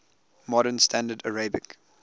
modern standard arabic